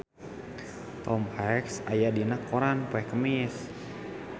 Tom Hanks aya dina koran poe Kemis